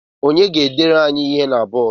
Onye ga-edere anyị ihe na bọọdụ?